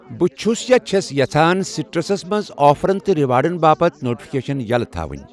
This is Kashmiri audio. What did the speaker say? بہٕ چُھس یا چھَس یژھان سِٹرسس منٛز آفرَن تہٕ ریوارڑَن باپتھ نوٹفکیشن یَلٔۍ تھاوُنۍ۔